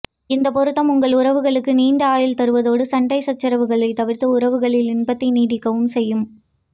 இந்த பொருத்தம் உங்கள் உறவுகளுக்கு நீண்ட ஆயுள் தருவதோடு சண்டை சச்சரவுகளை தவிர்த்து உறவுகளில் இன்பத்தை நீடிக்கவும் செய்யும்